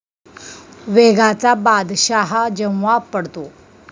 वेगाचा बादशाह जेव्हा 'पडतो'